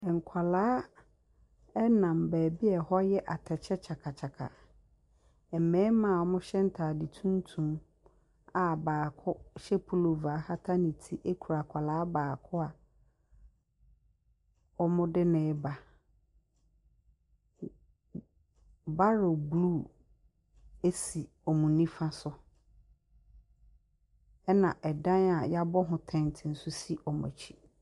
Nkwadaa nam baabi a ɛhɔ yɛ atɛkyɛ kyakakyaka. Mmarima wɔhyɛ ntade tuntum a baako hyɛ pullover kata ne kura akwadaa baako a wɔde no reba. Barrel blue si wɔn nifa so. Ɛna ɛdan a wɔabɔ ho tent nso si wɔn akyi.